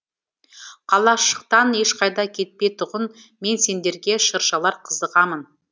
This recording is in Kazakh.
қалашықтан ешқайда кетпей тұғын мен сендерге шыршалар қызығамын